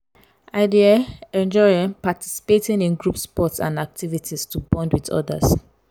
i dey um enjoy um participating in group sports and activities to bond with others.